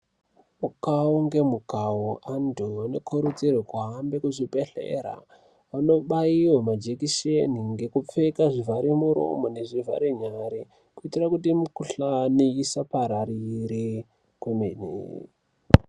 Mukawo nemukawo antu anokurudzirwa kuhambe kuzvibhedhlera ontobaiwa majekiseni nekupfeka zvivhare muromo nezvivhare nyara kuitira kuti mikuhlani isapararire kwemene.